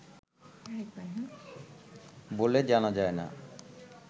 বলে জানা যায় না